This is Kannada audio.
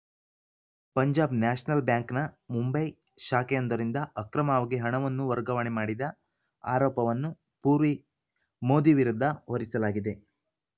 ಪಂಜಾಬ್‌ ನ್ಯಾಷನಲ್‌ ಬ್ಯಾಂಕ್‌ನ ಮುಂಬೈ ಶಾಖೆಯೊಂದರಿಂದ ಅಕ್ರಮವಾಗಿ ಹಣವನ್ನು ವರ್ಗಾವಣೆ ಮಾಡಿದ ಆರೋಪವನ್ನು ಪೂರ್ವಿ ಮೋದಿ ವಿರುದ್ಧ ಹೊರಿಸಲಾಗಿದೆ